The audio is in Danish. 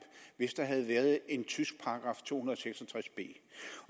hvis der havde været en tysk § to hundrede og seks og tres b